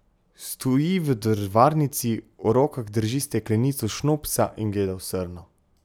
Stoji v drvarnici, v rokah drži steklenico šnopsa in gleda v srno.